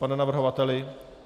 Pane navrhovateli?